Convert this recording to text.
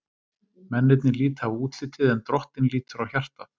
Mennirnir líta á útlitið, en Drottinn lítur á hjartað.